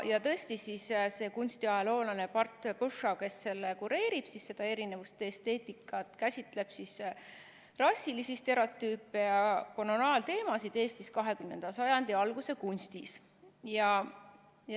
Kunstiajaloolane Bart Pushaw, kes seda "Erinevuste esteetikat" kureerib, käsitleb rassilisi stereotüüpe ja koloniaalteemasid Eesti 20. sajandi alguse kunstis.